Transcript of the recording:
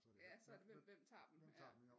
Ja så er det hvem hvem tager dem ja